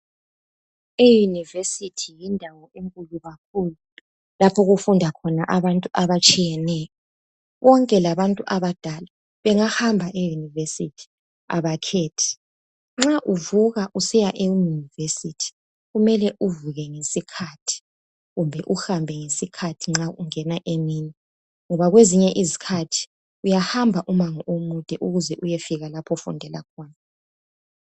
E university yindawo enkulu kakhulu lapho okufunda khona abantu abatshiyeneyo, konke labantu abadala bangahamba e university abakhethi. Nxa uvuka usiya e university mele uvuke ngesikhathi kumbe uhambe ngesikhathi nxa ungena emini ngabo kwezinye izikhathi uyahamba umango omude ukuze uyefika lapho ofundela khona